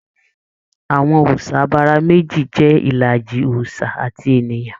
Àwọn òòsà abara meji jẹ ìlàjì òòsà àti ènìyàn.